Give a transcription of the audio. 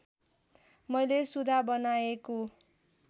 मैले सुघा बनाएको